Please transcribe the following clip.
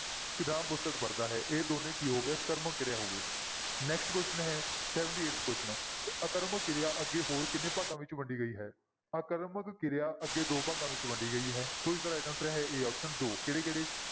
ਤੇ ਰਾਮ ਪੁਸਤਕ ਪੜ੍ਹਦਾ ਹੈ ਇਹ ਦੋਨੇਂ ਕੀ ਹੋ ਗਏ ਸਕਰਮਕ ਕਿਰਿਆ ਹੋ ਗਏ next question ਹੈ seventy-eighth question ਆਕਰਮਕ ਕਿਰਿਆ ਅੱਗੇ ਹੋਰ ਕਿੰਨੇ ਭਾਗਾਂ ਵਿੱਚ ਵੰਡੀ ਗਈ ਹੈ? ਆਕਰਮਕ ਕਿਰਿਆ ਅੱਗੇ ਦੋ ਭਾਗਾਂ ਵਿੱਚ ਵੰਡੀ ਗਈ ਹੈ, ਸੋ ਇਸਦਾ right answer ਹੈ a option ਦੋ ਕਿਹੜੇ ਕਿਹੜੇ?